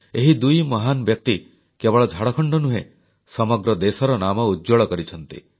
ଏହି ଦୁଇ ମହାନ ବ୍ୟକ୍ତି କେବଳ ଝାଡ଼ଖଣ୍ଡ ନୁହେଁ ସମଗ୍ର ଦେଶର ନାମ ଉଜ୍ଜ୍ୱଳ କରିଛନ୍ତି